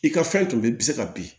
I ka fɛn tun bɛ i bɛ se ka bin